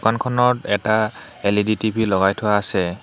দোকানখনত এটা L E D T V লগাই থোৱা আছে।